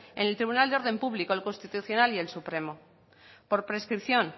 en el tribunal de orden público el constitucional y el supremo por prescripción